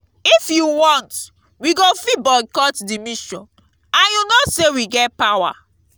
if you want we go fit boycott the mission and you know say we get power